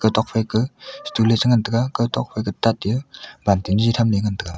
tokphai ka stull e che ngan taga kaw tokphai ke tate balting jiji tham ley ngan tega.